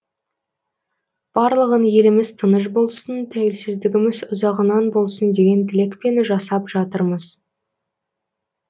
барлығын еліміз тыныш болсын тәуелсіздігіміз ұзағынан болсын деген тілекпен жасап жатырмыз